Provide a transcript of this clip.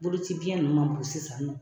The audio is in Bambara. Bolocibiɲɛ ninnu man bon sisan nɔ